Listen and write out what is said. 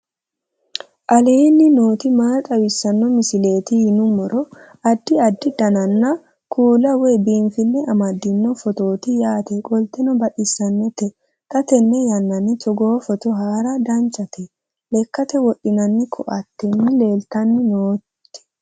aleenni nooti maa xawisanno misileeti yinummoro addi addi dananna kuula woy biinfille amaddino footooti yaate qoltenno baxissannote xa tenne yannanni togoo footo haara danchate lekkate wodhinanni koateeti leltanni nooti